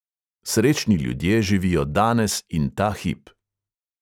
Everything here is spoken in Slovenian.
Srečni ljudje živijo danes in ta hip.